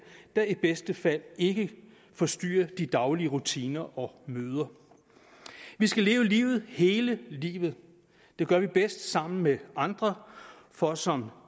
der i bedste fald ikke forstyrrer det daglige rutiner og møder vi skal leve livet hele livet det gør vi bedst sammen med andre for som